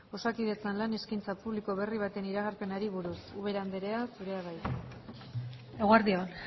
osakidetzan lan eskaintza publiko berri baten iragarpenari buruz ubera andrea zurea da hitza eguerdi on